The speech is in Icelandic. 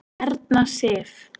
Erna Sif.